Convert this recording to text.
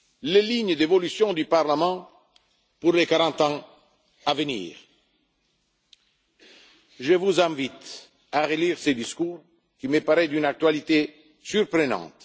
commun, les lignes d'évolution du Parlement pour les quarante ans à venir. Je vous invite à relire ce discours qui me paraît d'une actualité surprenante.